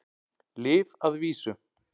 Lyf að vísu.